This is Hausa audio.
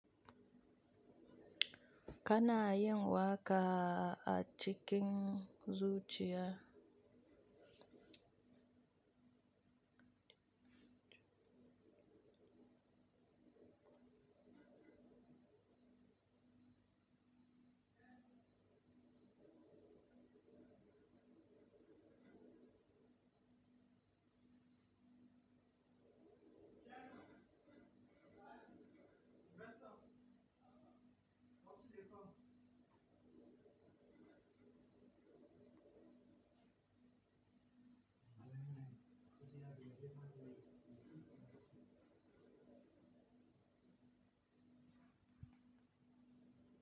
Kana yin waka a cikin zuciya.